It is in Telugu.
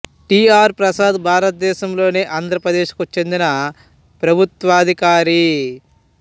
టి ఆర్ ప్రసాద్ భారతదేశంలోని ఆంధ్రప్రదేశ్ కు చెందిన ప్రభుత్వాధికారి